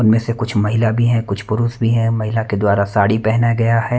उनमें से कुछ महिला भी हैं कुछ पुरुष भी हैं महिला के द्वारा साड़ी पहना गया है।